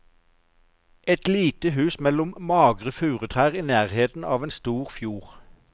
Et lite hus mellom magre furutrær i nærheten av en stor fjord.